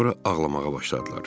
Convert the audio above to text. Sonra ağlamağa başladılar.